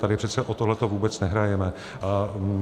Tady přece o tohle vůbec nehrajeme.